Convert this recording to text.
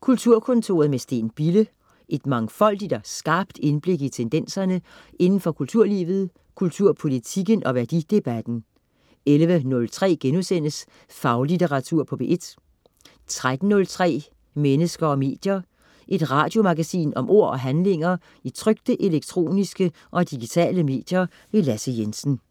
Kulturkontoret med Steen Bille. Et mangfoldigt og skarpt indblik i tendenserne indenfor kulturlivet, kulturpolitikken og værdidebatten 11.03 Faglitteratur på P1* 13.03 Mennesker og medier. Et radiomagasin om ord og handlinger i trykte, elektroniske og digitale medier. Lasse Jensen